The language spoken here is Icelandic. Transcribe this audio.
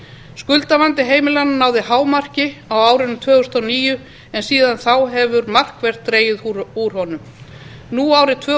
skuldavandi heimilanna náði hámarki á árinu tvö þúsund og níu en síðan þá hefur markvert dregið úr honum nú árið tvö